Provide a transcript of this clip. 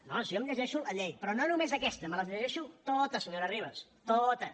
no si jo em llegeixo la llei però no només aquesta me les llegeixo totes senyora ribas totes